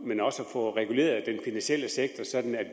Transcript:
men også få reguleret den finansielle sektor sådan